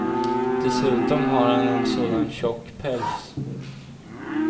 Dessutom har han en sån tjock päls.